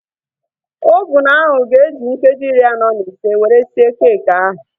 Ovunu ahu ga-eji nkeji iri anọ na ise were sie keekị ahu